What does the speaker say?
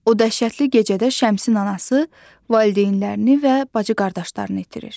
O dəhşətli gecədə Şəmsin anası valideynlərini və bacı-qardaşlarını itirir.